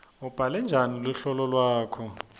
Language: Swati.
ubhale njani luhlolo lwakho